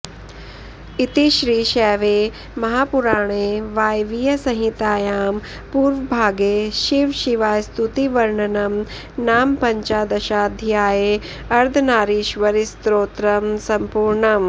इति श्रीशैवे महापुराणे वायवीयसंहितायां पूर्वभागे शिवशिवास्तुतिवर्णनं नाम पञ्चदशाध्याये अर्धनारीश्वरस्तोत्रं सम्पूर्णम्